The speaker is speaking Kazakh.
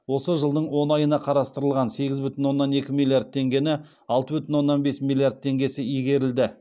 осы жылдың он айына қарастырылған сегіз бүтін оннан екі миллиард теңгені алты бүтін оннан бес миллиард теңгесі игерілді